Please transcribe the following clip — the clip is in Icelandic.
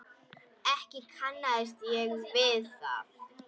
Ekki kannast ég við það.